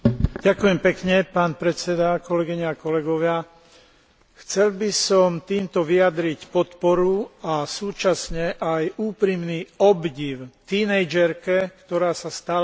Chcel by som týmto vyjadriť podporu a súčasne aj úprimný obdiv tínedžerke, ktorá sa stala symbolom boja za právo na vzdelanie moslimských žien.